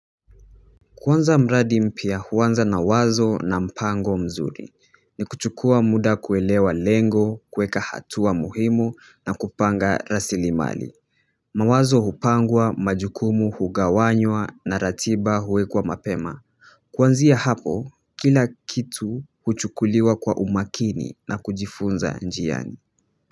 Kuanza mradi mpya huanza na wazo na mpango mzuri ni kuchukua muda kuelewa lengo kuweka hatua muhimu na kupanga rasilimali mawazo hupangwa majukumu hugawanywa na ratiba huwekwa mapema kwanzia hapo kila kitu huchukuliwa kwa umakini na kujifunza njiani.